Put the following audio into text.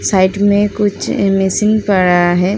Side में कुछ एमेसीन पड़ा है।